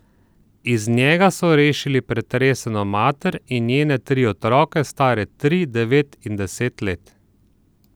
Iz njega so rešili pretreseno mater in njene tri otroke, stare tri, devet in deset let.